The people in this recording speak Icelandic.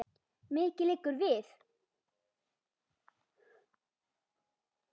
Mikið liggur við!